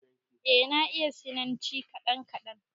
Eh, na iya sinanci kaɗan kaɗan